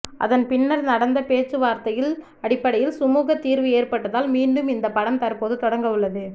அதன் பின்னர் நடந்த பேச்சுவார்த்தையின் அடிப்படையில் சுமுக தீர்வு ஏற்பட்டதால் மீண்டும் இந்த படம் தற்போது தொடங்க உள்ளது